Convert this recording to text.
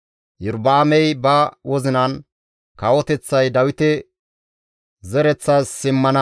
Iyorba7aamey ba wozinan, «Kawoteththay Dawite zereththas simmana.